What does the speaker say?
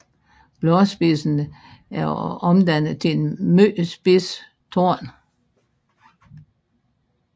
Bladspidsen er omdannet til en meget spids torn